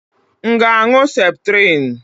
M ga-aṅụ septrim.